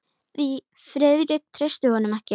Því Friðrik treysti honum ekki.